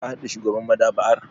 Ka hadu da shugaban maɗaba'ar?